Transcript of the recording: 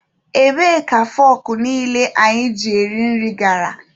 Ebee ka fọkụ niile anyị ji eri nri gara?